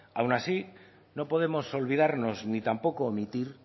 aun así no podemos olvidarnos ni tampoco omitir